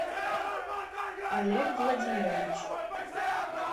олег владимирович